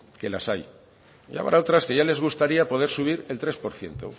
que las hay y habrá otras que ya les gustaría poder subir el tres por ciento